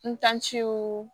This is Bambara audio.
N tanciw